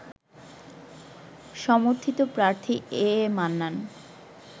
সমর্থিত প্রার্থী A A Mannan